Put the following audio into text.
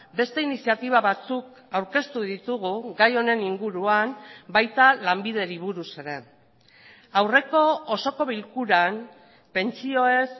beste iniziatiba batzuk aurkeztu ditugu gai honen inguruan baita lanbideri buruz ere aurreko osoko bilkuran pentsioez